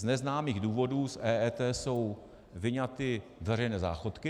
Z neznámých důvodů z EET jsou vyňaty veřejné záchodky.